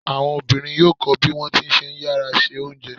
Àwọn obìnrin yóò kọ bí wọ́n ti ṣe ń yára se oúnjẹ.